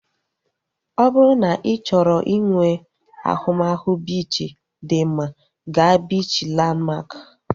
Ọ bụrụ na ị chọrọ inwe ahụmahụ biichi dị mma, gaa biichi Lanmak